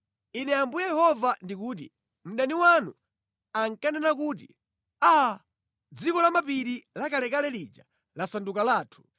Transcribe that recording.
Ine Ambuye Yehova ndikuti: Mdani wanu ankanena kuti, ‘Aa! Dziko lamapiri lakalekale lija lasanduka lathu.’